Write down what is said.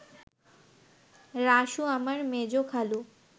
রাসু আমার মেজ খালু